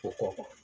O kɔfɛ